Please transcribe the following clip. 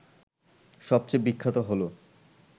সবচেয়ে বিখ্যাত হল